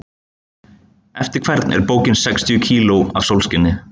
Eftir hvern er bókin Sextíu kíló af sólskini?